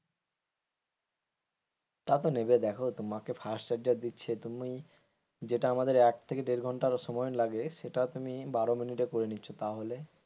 তাতো নেবে দেখো তোমাকে ফাস্ট চার্জার দিচ্ছে তুমি যেটা আমাদের এক থেকে দেড় ঘন্টার ও সময় লাগে সেটা তুমি বারো মিনিটে করে নিচ্ছ তাহলে,